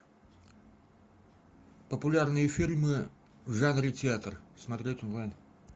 популярные фильмы в жанре театр смотреть онлайн